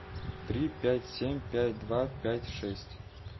три пять семь пять два пять шесть